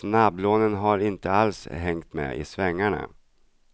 Snabblånen har inte alls hängt med i svängarna.